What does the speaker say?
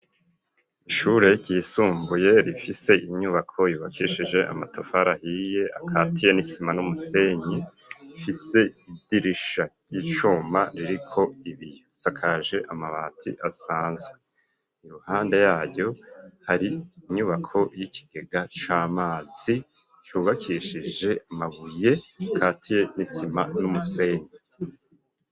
Ishure ryisumbuye, rifise inyubako, yubakishije amatafari ahiye, akatiye n'isima n'umusenyi, ifise idirisha ry'icuma, ririko ibiyo; isakaje amabati asanzwe; iruhande yaryo, hari inyubako y'ikigega c'amazi, cubakishije amabuye, akatiye n'isima n'umusenyi.